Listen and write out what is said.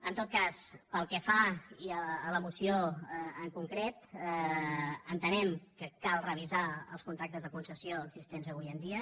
en tot cas pel que fa a la moció en concret entenem que cal revisar els contractes de concessió existents avui en dia